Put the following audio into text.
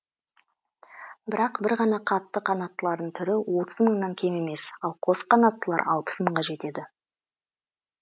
бірақ бір ғана қатты қанаттылардың түрі отыз мыңнан кем емес ал қос қанаттылар алпыс мыңға жетеді